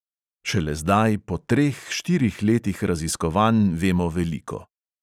Šele zdaj, po treh, štirih letih raziskovanj vemo veliko.